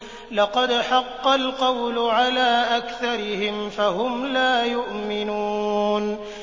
لَقَدْ حَقَّ الْقَوْلُ عَلَىٰ أَكْثَرِهِمْ فَهُمْ لَا يُؤْمِنُونَ